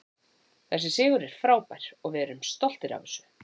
Þessi sigur er frábær og við erum stoltir af þessu.